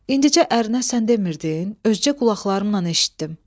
İndicə ərinə sən demirdin, özgə qulaqlarımla eşitdim.